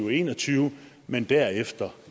og en og tyve men derefter